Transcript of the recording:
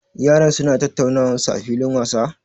Yaran su na tattaunawan su a filin wasa?